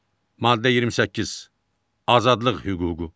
Maddə 28 Azadlıq hüququ.